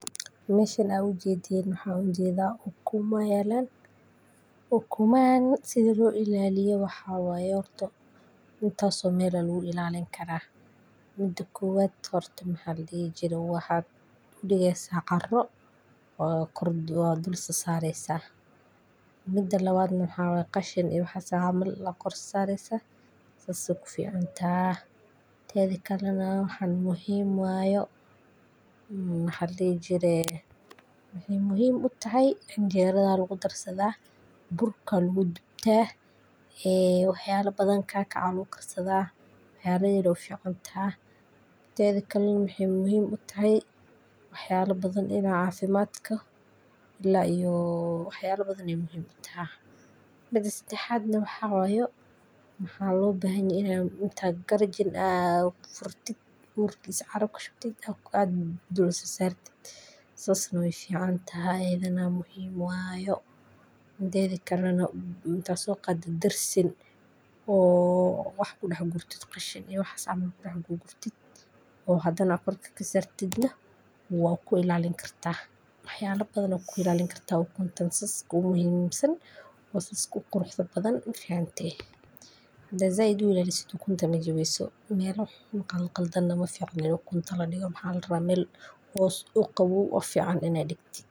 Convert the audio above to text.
Meeshan ujeedin maxaa u jeedaa ukumaa yaalan. U kumaayan sidii loo ilaaliyee waxaa way horto intaa soo meel wuu ilaalin kara. Middo kowad horta maxaa la dihi jiro waxaad uu dhigeysa carro oo kordh waa dhul so saaraysa. Midda la waad maxa wee qashiin iyo waxa saamal la kor saaraysa saas u fiican taa. Teadi kallina maxan muhiim waayo, mm, waxa ladi jire. Maxii muhiim u tahay anjeerada lagu darsadaa burkan wuu dibta ee waxyaalo badan kac kac ya la kukarsada wax ya biy loo fiican taa. Teadi kallina maxa way u muhiimu u tahay waxyaalo badan in aan caafimaad ku ilaa iyo waxyaalo badani muhim u taah. Midas seedahadna waxa wayo maxaa loo baahanya ina intaa garajin ah furtid urkisa caru ka shubtid oo aad dul sa saartid. Sas nu fiican taa eedana muhiim waayo deedi kallina taaso qaad darsin oo wax ku dax gurtid qashin ee wax saa camal dax gurtid oo hadana kordhka ka saartidna wuu ku ilaalin kartaa. Waxyaalo badan oo ku ilaalin kartaa ukun tan sas ku muhiimsan oo sas ku qurux ta badan u fiicntay. Hadaa Zayd wuxuu ilaali sitoo ukuntan ma jawaayo soo meel u qalqaldan nama fiicno ukun talo dhigo maxa la rawa meel hoos u qaboo u fiican inaa dikti.